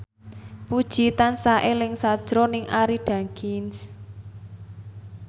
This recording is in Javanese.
Puji tansah eling sakjroning Arie Daginks